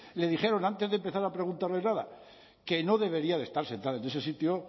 le dijeron antes de empezar a preguntarles nada que no debería de estar sentada en ese sitio